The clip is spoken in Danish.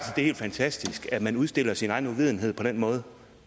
helt fantastisk at man udstiller sin egen uvidenhed på den måde